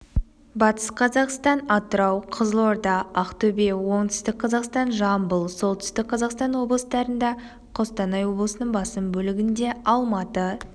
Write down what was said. батыс қазақстан атырау қызылорда ақтөбе оңтүстік қазақстан жамбыл солтүстік қазақстан облыстарында қостанай облысының басым бөлігінде алматы